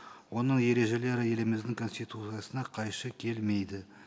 оның ережелері еліміздің конституциясына қайшы келмейді